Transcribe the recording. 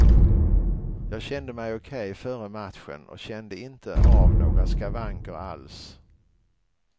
Jag kände mig okej före matchen och kände inte av några skavanker alls.